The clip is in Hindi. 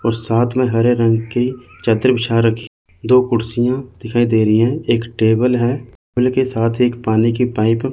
और साथ में हरे रंग की चद्दर बिछा रखी दो कुर्सियां दिखाई दे रही हैं एक टेबल है टेबल के साथ ही एक पानी की पाईप --